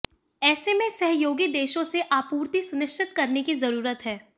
ऐसे में सहयोगी देशों से आपूर्ति सुनिश्चित करने की जरूरत है